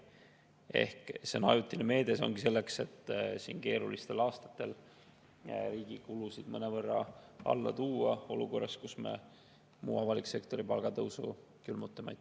Ehk see on ajutine meede, see ongi selleks, et keerulistel aastatel riigi kulusid mõnevõrra alla tuua olukorras, kus me muu avaliku sektori palgad külmutame.